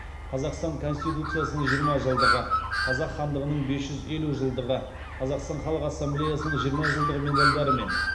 қазақстан конституциясының жиырма жылдығы қазақ хандығының бес жүз елу жылдығы қазақстан халық ассамблеясының жиырма жылдығы медалдарымен